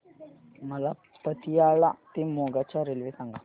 मला पतियाळा ते मोगा च्या रेल्वे सांगा